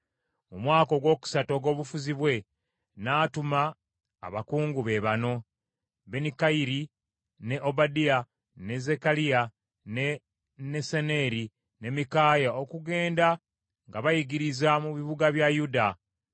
Mu mwaka ogwokusatu ogw’obufuzi bwe, n’atuma abakungu be bano: Benikayiri, ne Obadiya, ne Zekkaliya, ne Nesaneeri, ne Mikaaya okugenda nga bayigiriza mu bibuga bya Yuda.